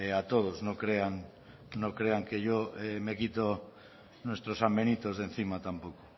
a todos no crean no crean que yo me quito nuestros sambenitos de encima tampoco